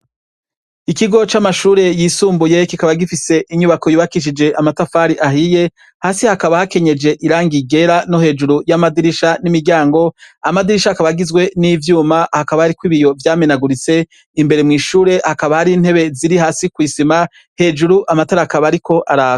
Ikigo c'amashure yisumbuye kikaba gifise inyubako yubakishije amatafari ahiye hasi hakaba hakenyeje irangi ryera no hejuru yamadirisha n'imiryango, amadirisha akaba agizwe n'ivyuma hakaba hariko ibiyo vyameneguritse, imbere mw'ishure hakaba hariyo intebe ziri hasi kwi sima hejuru amatara akaba ariko araka.